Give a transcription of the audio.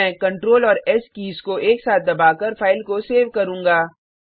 अब मैं कंट्रोल और एस कीज को एक साथ दबाकर फाइल को सेव करुँगा